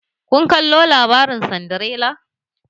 Kun kallo labarin Sindirela?